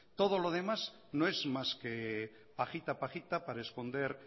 todo lo demás no es más que pajita pajita para esconder